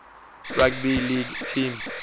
rugby league team